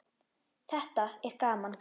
Þetta er gaman.